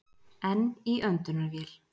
Enn í öndunarvél